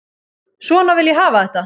Svona vil ég hafa þetta.